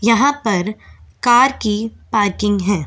यहां पर कार की पार्किंग है ।